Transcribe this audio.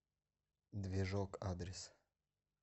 движок адрес